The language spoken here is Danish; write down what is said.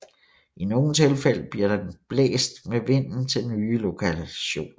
I nogle tilfælde bliver den blæst med vinden til nye lokationer